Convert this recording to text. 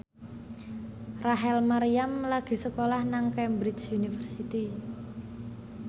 Rachel Maryam lagi sekolah nang Cambridge University